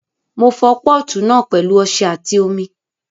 Mo fọ pọ́ọ̀tù náà pẹ̀lú ọṣẹ àti omi